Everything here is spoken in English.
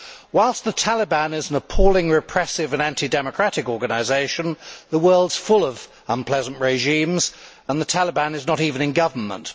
Whilst the Taliban are an appalling, repressive and anti democratic organisation, the world is full of unpleasant regimes and the Taliban are not even in government.